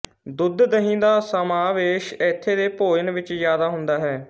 ਦੁੱਧ ਦਹੀ ਦਾ ਸਮਾਵੇਸ਼ ਇੱਥੇ ਦੇ ਭੋਜਨ ਵਿੱਚ ਜਿਆਦਾ ਹੁੰਦਾ ਹੈ